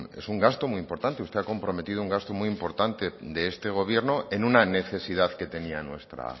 es un gasto muy importante usted ha comprometido un gasto muy importante de este gobierno en una necesidad que tenía nuestra